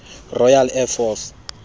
royal air force